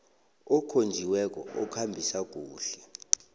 okhonjiweko okhambisa kuhle